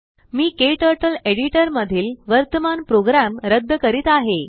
मीKTurtleएडिटरमधील वर्तमान प्रोग्राम रद्द करीत आहे